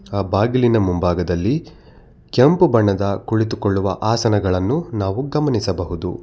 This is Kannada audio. ಆ ಬಾಗಿಲಿನ ಮುಂಭಾಗದಲ್ಲಿ ಕೆಂಪು ಬಣ್ಣದ ಕುಳಿತುಕೊಳ್ಳುವ ಆಸನಗಳನ್ನು ನಾವು ಗಮನಿಸಬಹುದು.